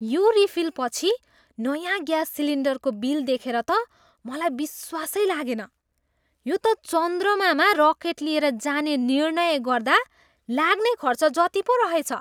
यो रिफिलपछि नयाँ ग्याँस सिलिन्डरको बिल देखेर त मलाई विश्वासै लागेन। यो त चन्द्रमामा रकेट लिएर जाने निर्णय गर्दा लाग्ने खर्च जति पो रहेछ!